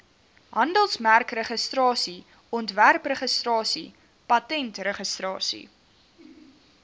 handelsmerkregistrasie ontwerpregistrasie patentregistrasie